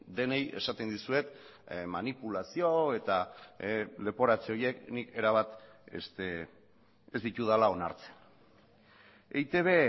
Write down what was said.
denei esaten dizuet manipulazio eta leporatze horiek nik erabat ez ditudala onartzen eitb